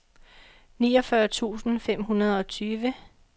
niogfyrre tusind fem hundrede og tyve